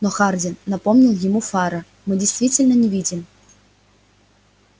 но хардин напомнил ему фара мы действительно не видим